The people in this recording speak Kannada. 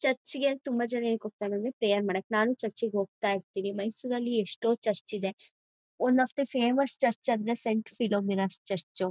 ಚರ್ಚ್ ಗೆ ತುಂಬಾ ಜನ ಯಾಕ್ ಹೋಗ್ತಾರೆ ಅಂದ್ರೆ ಪ್ರೇಯರ್ ಮಾಡಕ್ಕೆ ನಾನು ಚರ್ಚ್ ಗೆ ಹೋಗ್ತಾ ಇರ್ತೀವಿ ಮೈಸೂರ್ ಅಲ್ಲಿ ಎಷ್ಟೋ ಚರ್ಚ್ ಇದೆ one of the famous church ಅಂದ್ರೆ ಸೆಂಟ್ ಫಿಲೋಮಿನಾ ಚರ್ಚ್